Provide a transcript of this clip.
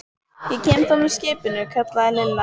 Ég kem þá með skipinu, kallaði Lilla.